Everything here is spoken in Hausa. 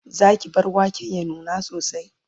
Zaki bar waken ya nuna sosai?